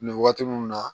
Nin waati mun na